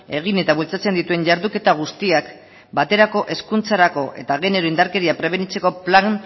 egin eta bultzatzen dituen jarduketa guztiak baterako hezkuntzarako eta genero indarkeria prebenitzeko plan